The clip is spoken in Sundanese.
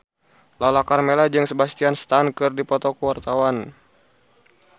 Lala Karmela jeung Sebastian Stan keur dipoto ku wartawan